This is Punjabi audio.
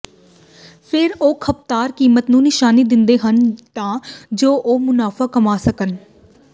ਫਿਰ ਉਹ ਖਪਤਕਾਰ ਕੀਮਤ ਨੂੰ ਨਿਸ਼ਾਨੀ ਦਿੰਦੇ ਹਨ ਤਾਂ ਜੋ ਉਹ ਮੁਨਾਫ਼ਾ ਕਮਾ ਸਕਣ